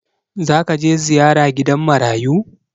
Za ka je ziyara gidan marayu?